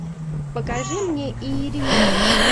покажи мне иеремия